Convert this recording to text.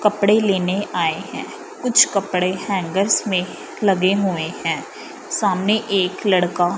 कपड़े लेने आए हैं कुछ कपड़े हैंगर्स में लगे हुए हैं सामने एक लड़का--